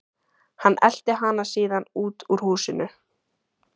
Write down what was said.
Hann elti hana síðan út úr húsinu.